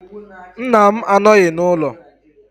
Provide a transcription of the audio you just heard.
Nna m anọghị n’ụlọ